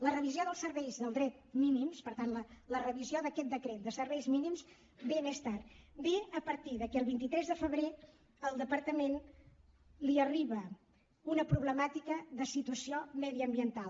la revisió dels serveis del decret mínims per tant la revisió d’aquest decret de serveis mínims ve més tard ve a partir que el vint tres de febrer al departament li arriba una problemàtica de situació mediambiental